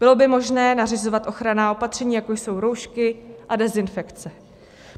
Bylo by možné nařizovat ochranná opatření, jako jsou roušky a dezinfekce.